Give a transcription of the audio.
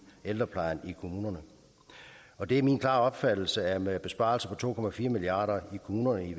ældreplejen i kommunerne og det er min klare opfattelse at med besparelser på to milliard kroner i